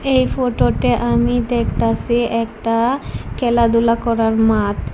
এই ফটোটে আমি দেখতাসি একটা খেলাধুলা করার মাঠ।